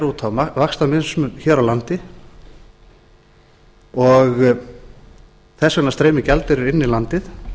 út á vaxtamismun hér á landi og þess vegna streymir gjaldeyrir inn í landið